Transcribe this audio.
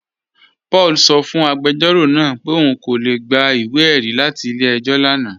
Paul sọ́ fún agbẹjọro náà pẹ̀ ọun kò lè gbà ìwé-ẹ̀rí latí ilẹ̀-ẹ̀jọ̀ lánà